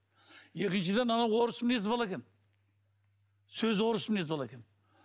екіншіден анау орыс мінезді бала екен сөзі орыс мінезді бала екен